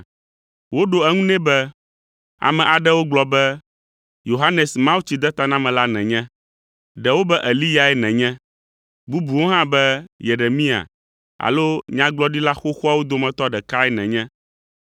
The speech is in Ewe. Woɖo eŋu nɛ be, “Ame aɖewo gblɔ be, Yohanes Mawutsidetanamela nènye. Ɖewo be Eliyae nènye, bubuwo hã be Yeremia alo nyagblɔɖila xoxoawo dometɔ ɖekae nènye.”